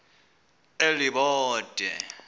elibode